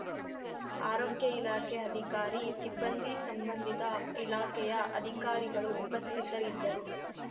ಆರೋಗ್ಯ ಇಲಾಖೆ ಅಧಿಕಾರಿಸಿಬ್ಬಂದಿ ಸಂಬಂಧಿತ ಇಲಾಖೆಯ ಅಧಿಕಾರಿಗಳು ಉಪಸ್ಥಿತರಿದ್ದರು